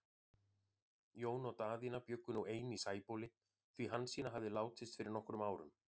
Jón og Daðína bjuggu nú ein í Sæbóli, því Hansína hafði látist fyrir nokkrum árum.